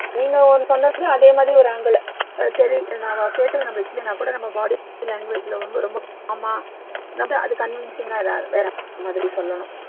நீங்க சொன்னதுல அதே மாதிரி ஒரு angle அது சரி நம்ம கேட்டது நம்மளுக்கு இல்லைன்னா கூட நம்ம body language ல வந்து ரொம்ப calm ஆ அது convincing ஆ வேற மாதிரி சொல்லணும்